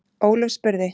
Ólöf spurði: